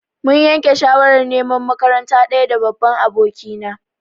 Mun yanke shawarar neman makaranta ɗaya da babban abokina.